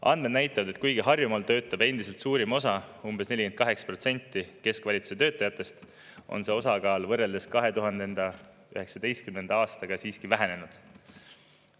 Andmed näitavad, et kuigi Harjumaal töötab endiselt suurim osa, umbes 48% keskvalitsuse töötajatest, on see osakaal võrreldes 2019. aastaga vähenenud.